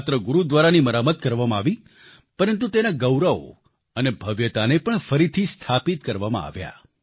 ન માત્ર ગુરુદ્વારાની મરામત કરવામાં આવી પરંતુ તેના ગૌરવ અને ભવ્યતાને પણ ફરીથી સ્થાપિત કરવામાં આવ્યા